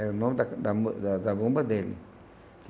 Era o nome da da da Zabumba dele.